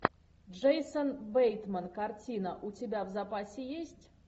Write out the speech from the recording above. джейсон бейтман картина у тебя в запасе есть